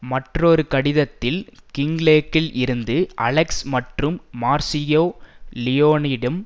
மற்றொரு கடிதத்தில் கிங்லேக்கில் இருந்து அலெக்ஸ் மற்றும் மார்சியோ லியோனிடம்